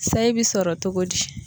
Sayi bɛ sɔrɔ togo di.